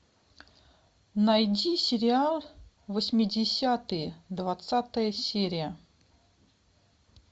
найди сериал восьмидесятые двадцатая серия